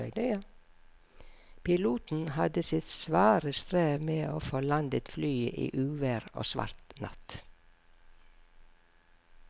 Piloten hadde sitt svare strev med å få landet flyet i uvær og svart natt.